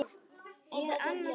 Ég er annars hugar.